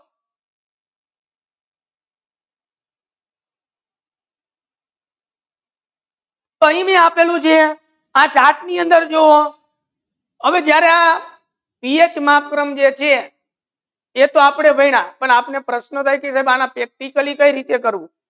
તો આહિયા આપેલુ છે ચાર્ટ ની અંદર જો હવે જ્યારે એ પીએચ માત્ર માતર જે છે એ તો આપડે ભણિયા પણ આના પ્રશાનો practically કઈ રીતે કરવુ